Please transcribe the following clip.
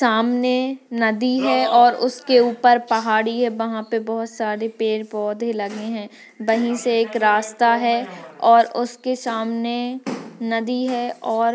सामने नदी है और उसके ऊपर पहाड़ी के उसके ऊपर बोहोत सारे पेड़ पोधे लगे हुए है वही से एक रास्ता गया हुआ है उसके सामने नदी है ओर--